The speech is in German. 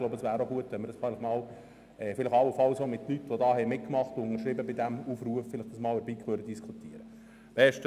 Ich denke, es wäre gut, wenn wir dies allenfalls auch mit Personen, die mitgemacht und diesen Aufruf unterzeichnet haben, in der BiK diskutieren könnten.